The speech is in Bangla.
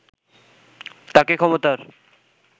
তাকে ক্ষমতার